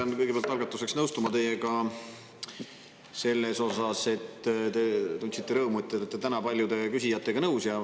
Ma pean kõigepealt algatuseks nõustuma teiega selles osas, et te tundsite rõõmu, et te olete täna paljude küsijatega nõus.